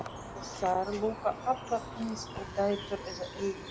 Og þær lúkka allar eins og dætur eða eigin